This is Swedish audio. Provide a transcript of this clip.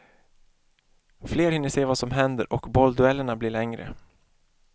Fler hinner se vad som händer och bollduellerna blir längre.